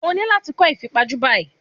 O ní láti kọ́ ìfipajú báyìí.